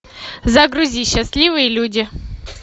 загрузи счастливые люди